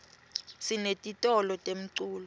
sinetitolo temculo